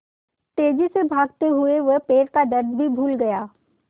तेज़ी से भागते हुए वह पैर का दर्द भी भूल गया